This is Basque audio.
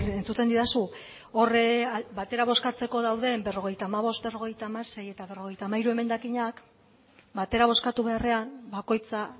entzuten didazu hor batera bozkatzeko dauden berrogeita hamabost berrogeita hamasei eta berrogeita hamairu emendakinak batera bozkatu beharrean bakoitza